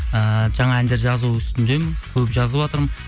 ііі жаңа әндер жазу үстіндемін көп жазыватырмын